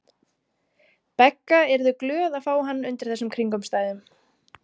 Begga yrðu glöð að fá hann undir þessum kringumstæðum.